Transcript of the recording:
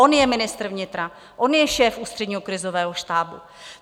On je ministr vnitra, on je šéf Ústředního krizového štábu.